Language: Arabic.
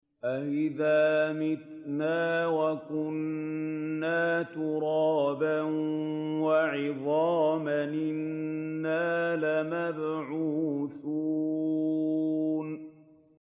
أَإِذَا مِتْنَا وَكُنَّا تُرَابًا وَعِظَامًا أَإِنَّا لَمَبْعُوثُونَ